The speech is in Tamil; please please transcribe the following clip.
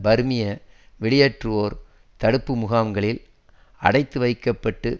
பர்மிய வெளியேற்றுவோர் தடுப்பு முகாம்களில் அடைத்து வைக்க பட்டு